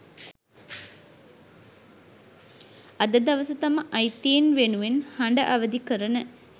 අද දවස තම අයිතීන් වෙනුවෙන් හඬ අවදි කරන